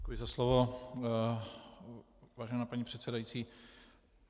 Děkuji za slovo, vážená paní předsedající.